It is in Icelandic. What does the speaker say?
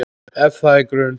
Ef það er grun